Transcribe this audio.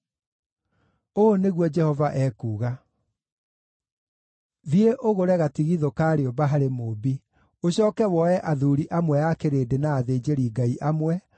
Ũũ nĩguo Jehova ekuuga: “Thiĩ ũgũre gatigithũ ka rĩũmba harĩ mũũmbi. Ũcooke woe athuuri amwe a kĩrĩndĩ na athĩnjĩri-Ngai amwe,